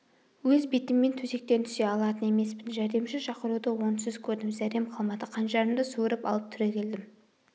өз бетіммен төсектен түсе алатын емеспін жәрдемші шақыруды орынсыз көрдім зәрем қалмады қанжарымды суырып алып түрегелдім